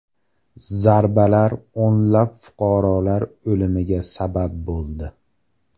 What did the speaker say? Zarbalar o‘nlab fuqarolar o‘limiga sabab bo‘ldi.